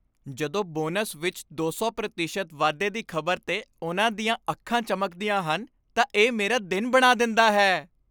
ਜਦੋਂ ਬੋਨਸ ਵਿੱਚ ਦੋ ਸੌ ਪ੍ਰਤੀਸ਼ਤ ਵਾਧੇ ਦੀ ਖ਼ਬਰ 'ਤੇ ਉਨ੍ਹਾਂ ਦੀਆਂ ਅੱਖਾਂ ਚਮਕਦੀਆਂ ਹਨ ਤਾਂ ਇਹ ਮੇਰਾ ਦਿਨ ਬਣਾ ਦਿੰਦਾ ਹੈ